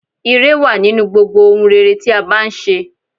Ìre wà nínú gbogbo ohun rere tí a bá n ṣe